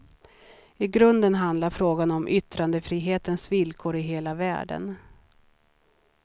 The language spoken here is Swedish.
I grunden handlar frågan om yttrandefrihetens villkor i hela världen.